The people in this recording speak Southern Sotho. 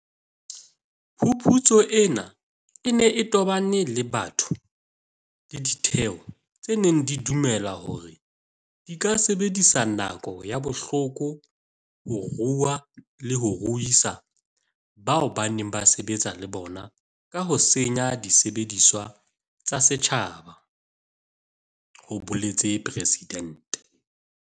"Phuputso ena e ne e tobane le batho le ditheo tse neng di dumela hore di ka sebedisa nako ya bohloko ho rua le ho ruisa bao ba neng ba sebetsa le bona ka ho senya disebediswa tsa setjhaba," ho boletse Presidente.